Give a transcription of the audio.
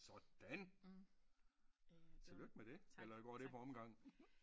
Sådan tillykke med det eller går det på omgang?